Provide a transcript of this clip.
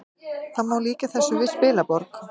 Það má líkja þessu við spilaborg